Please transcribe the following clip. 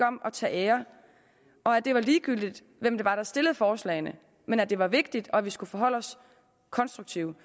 om at tage æren og at det var ligegyldigt hvem det var der stillede forslagene men at det var vigtigt og at vi skulle forholde os konstruktivt